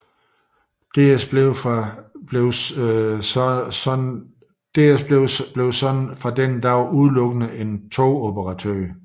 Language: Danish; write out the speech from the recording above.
DSB blev således fra den dag udelukkende en togoperatør